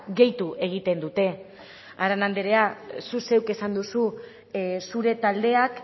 gehitu egiten dute arana andrea zuk zeuk esan duzu zure taldeak